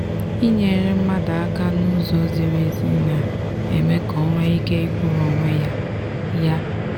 inyere mmadụ aka n'ụzọ ziri ezi na-eme ka o nwee ike ikwụrụ onwe ya. ya.